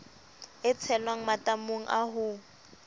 e tshelwang matamong a ho